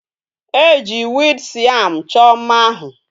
Eji weed siam cho mma ahu